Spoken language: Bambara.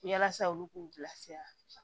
Yasa olu k'u bilasira